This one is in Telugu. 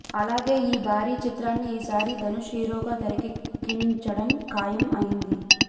అలాగే ఈ భారీ చిత్రాన్ని ఈసారి ధనుష్ హీరోగా తెరకెక్కించడం ఖాయం అయ్యింది